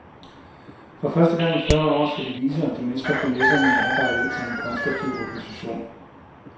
For første gang i fyrre år skal de vise om de mestrer finesserne i arbejdet som en konstruktiv opposition.